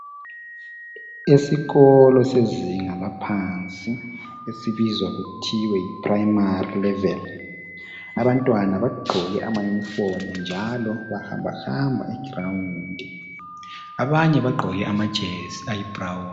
Esikolo sezinga laphansi esibizwa kuthiwa yiPrayimari, abantwana bagqoke amayunifomu njalo bahamba egrawundi. Abanye bagqoke amajesi ayibrawuni.